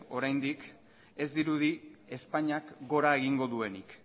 oraindik ez dirudi espainiak gora egingo duenik